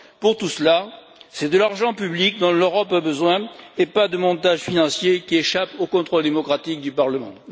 Pour tout cela, c'est de l'argent public dont l'Europe a besoin et pas de montages financiers qui échappent au contrôle démocratique du Parlement.